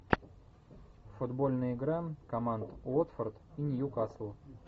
футбольная игра команд уотфорд и ньюкасл